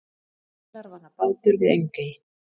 Vélarvana bátur við Engey